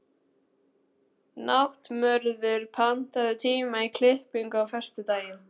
Náttmörður, pantaðu tíma í klippingu á föstudaginn.